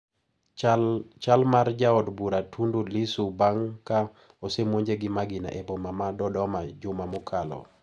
Chal mar jaod bura Tundu Lissu bang` ka osemonje gi magina e boma ma Dodoma juma mokalo.